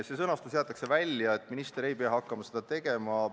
See jutt jäetakse välja, minister ei pea hakkama seda tegema.